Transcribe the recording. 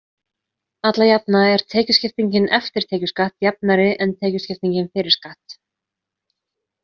Alla jafna er tekjuskiptingin „eftir tekjuskatt“ jafnari en tekjuskipting „fyrir skatt“.